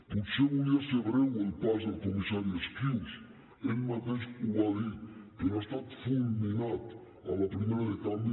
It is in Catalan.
potser volia ser breu el pas del comissari esquius ell mateix ho va dir però ha estat fulminat a la primera de canvi